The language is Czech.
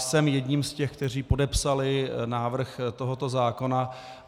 Jsem jedním z těch, kteří podepsali návrh tohoto zákona.